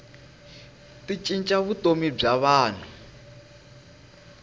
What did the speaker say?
ti cinca vutomi bya vanhu